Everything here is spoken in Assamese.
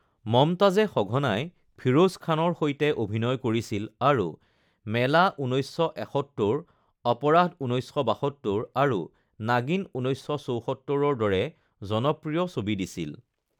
মমতাজে সঘনাই ফিৰোজ খানৰ সৈতে অভিনয় কৰিছিল আৰু মেলা ঊনৈছশ এসত্তৰ, অপৰাধ ঊনৈছশ বাসত্তৰ আৰু নাগিন ঊনৈছশ চৌসত্তৰ দৰে জনপ্ৰিয় ছবি দিছিল